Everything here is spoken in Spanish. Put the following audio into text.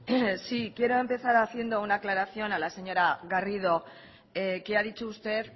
sí quiero empezar haciendo una aclaración a la señora garrido que ha dicho usted